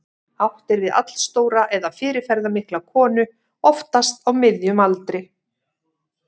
Átt er við allstóra eða fyrirferðarmikla konu, oftast á miðjum aldri.